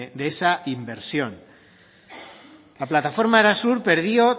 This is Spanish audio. de esa inversión la plataforma arasur perdió